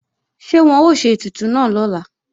Ṣé wọ́n ó ṣe ètùtù náà lọ́la